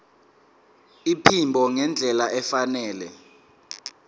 iphimbo ngendlela efanele